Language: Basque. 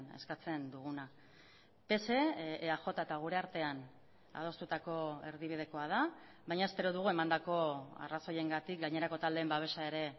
eskatzen duguna pse eaj eta gure artean adostutako erdibidekoa da baina espero dugu emandako arrazoiengatik gainerako taldeen babesa ere